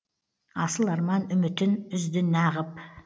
асыл арман үмітін үзді нағып